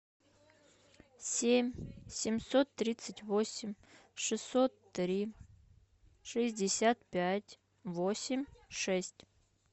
семь семьсот тридцать восемь шестьсот три шестьдесят пять восемь шесть